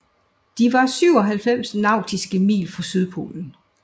De var 97 nautiske mil fra Sydpolen